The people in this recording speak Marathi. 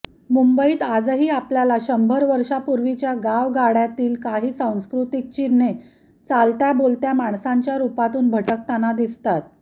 मुंबईत आजही आपल्याला शंभर वर्षांपूर्वीच्या गावगाड्यातील काही सांस्कृतिक चिन्हे चालत्याबोलत्या माणसांच्या रूपातून भटकताना दिसतात